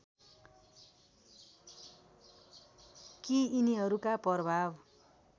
कि यिनीहरूका प्रभाव